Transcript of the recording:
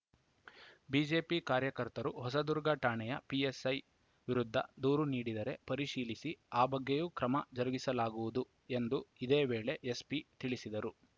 BJP ಕಾರ್ಯಕರ್ತರು ಹೊಸದುರ್ಗ ಠಾಣೆಯ PSI ವಿರುದ್ಧ ದೂರು ನೀಡಿದರೆ ಪರಿಶೀಲಿಸಿ ಆ ಬಗ್ಗೆಯೂ ಕ್ರಮ ಜರುಗಿಸಲಾಗುವುದು ಎಂದು ಇದೇ ವೇಳೆ ಎಸ್ಪಿ ತಿಳಿಸಿದರು